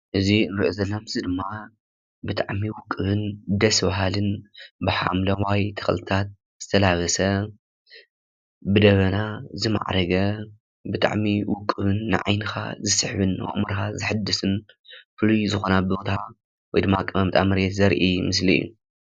እዚ እንሪኦ ዘለና ምስሊ ድማ ብጣዕሚ ውቁብን ደስ ብሃልን ብሓምለዋይ ተኽልታት ዝተላበሰ ብደመና ዝማዕረገ ብጣዕሚ ውቁብን ንዓይንኻ ዝስሕብን ንኣእምሮኻ ዝሕድስን ዝኾነ ቦታ ወይ ድማ ኣቀማምጣ መሬት ዘርኢ ምስሊ እዩ።